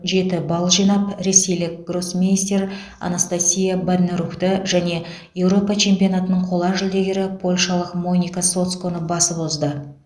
жеті балл жинап ресейлік гроссмейстер анастасия банерувті және еуропа чемпионатының қола жүлдегері польшалық моника соцконы басып озды